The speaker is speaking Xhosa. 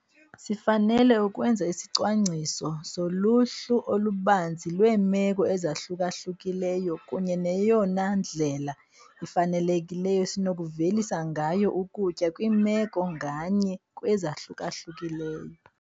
Sifanele ukwenza isicwangciso soluhlu olubanzi lweemeko ezahluka-hlukileyo kunye neyona ndlela ifanelekileyo esinokuvelisa ngayo ukutya kwimeko nganye kwezahluka-hlukileyo.